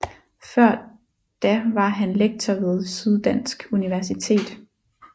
Før da var han lektor ved Syddansk Universitet